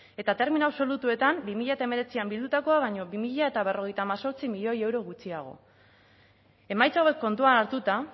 eta termino absolutuetan bi mila hemeretzian bildutakoa baino bi mila berrogeita hemezortzi milioi euro gutxiago emaitza hauek kontuan hartuta